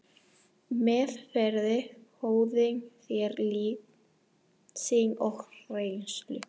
Meðferðis höfðu þeir líf sitt og reynslu.